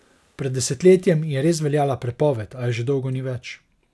Pred desetletjem je res veljala prepoved, a je že dolgo ni več.